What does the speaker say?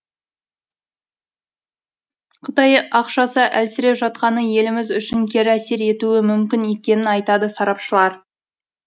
қытай ақшасы әлсіреп жатқаны еліміз үшін кері әсер етуі мүмкін екенін айтады сарапшылар